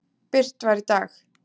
birt var í dag.